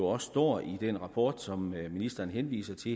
også står i den rapport som ministeren henviser til